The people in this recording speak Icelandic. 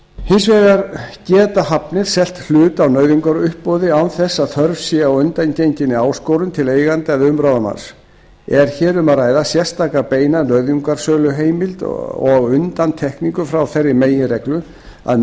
hins vegar geta hafnir selt hlut á nauðungaruppboði án þess að þörf sé á undangenginni áskorun til eiganda eða umráðamanns er hér um að ræða sérstaka beina nauðungarsöluheimild og undantekningu frá þeirri meginreglu að